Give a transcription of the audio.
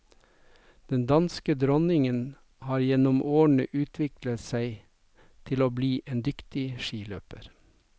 Den danske dronningen har gjennom årene utviklet seg til å bli en dyktig skiløper.